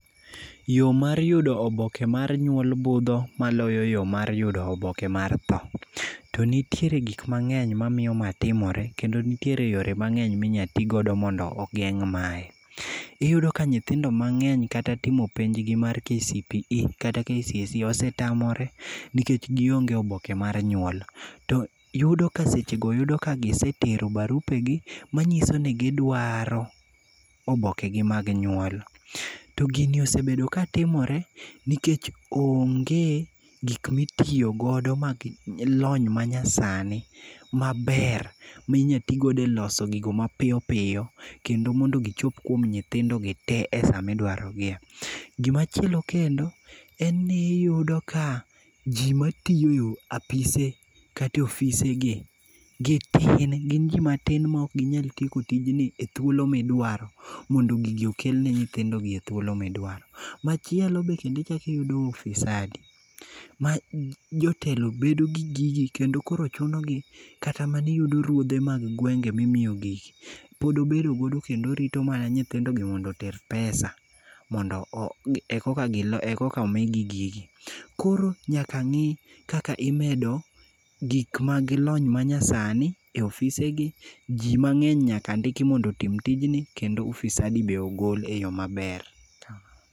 Yo mar yudo oboke mar nyuol budho moloyo yo mar yudo oboke mar tho. To nitiere gik mang'eny mamiyo ma timore kendo nitiere yore mang'eny minyalo ti go mondo ogeng' mae. Iyudo ka nyithindo mang'eny kata timo penjgi mar KCPE kata KCSE osetamore nikech gionge oboke mar nyuol. To yudo ka sechego gisetero barupegi manyiso ni gidwaro obokegi mag nyuol. To gini osebedo katimore nikech onge gik mitiyogodo mag lony manyasani maber ma inyalo ti godo eloso gigo mapiyo piyo kendo mondo gichop kuom nyithindogi te esa midwarogiye. Gima chielo kendo en ni iyudo ka ji matiyo e apise kata e ofisegi, gin ji matin maok ginyal tieko tijegi e thuolo midwaro mondo gigi okel ne nyithindogi e thuolo midwaro. Machielo be kendo ichako iyudo ufisadi ma jotelo bedo gi gigi kendo koro chunogi kata maniyudo ruodhe mag gwenge mimiyo gigi. Pod obedo godo kendo orito mana mondo nyithindogi oter pesa mondo eka omigi gigi. Koro nyaka ng'i kaka imedo gik mag lony manyasani e ofisegi, ji mang'eny nyaka ndiki mondo otim tijni kendo ufisadi bende ogol eyo maber.